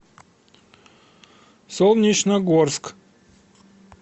солнечногорск